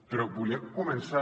però volia començar